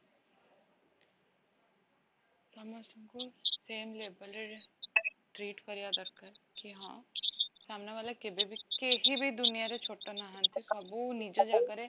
ଆମେ ସବୁ same level ରେ treat କରିବା ଦରକାର କି ହଁ ସାମ୍ନା ଵାଲା କେଭେବି କେହିବି ଦୁନିଆରେ ଛୋଟ ନାହାନ୍ତି ସବୁ ନିଜ ଜାଗାରେ